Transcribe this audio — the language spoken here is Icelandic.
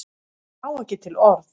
Á ekki til orð.